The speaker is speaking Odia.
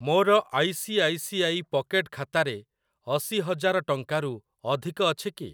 ମୋର I C I C I pocket ଖାତାରେ ଅଶି ହଜାର ଟଙ୍କାରୁ ଅଧିକ ଅଛି କି?